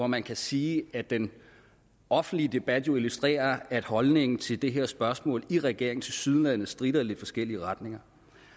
man kan sige at den offentlige debat jo illustrerer at holdningen til det her spørgsmål i regeringen tilsyneladende stritter i lidt forskellige retninger